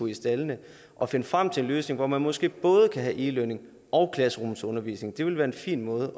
i staldene at finde frem til en løsning hvor man måske både kan have e learning og klasserumsundervisning det ville være en fin måde